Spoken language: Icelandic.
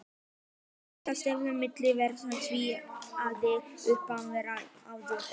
Aðskilnaðarstefnan milli svartra og hvítra hafði opinberlega verið aflögð og